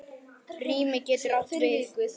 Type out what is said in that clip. Rými getur átt við